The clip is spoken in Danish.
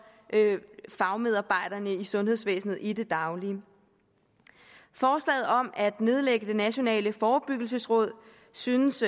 fagmedarbejderne i sundhedsvæsenet i det daglige forslaget om at nedlægge det nationale forebyggelsesråd synes